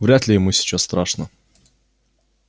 вряд-ли ему сейчас страшно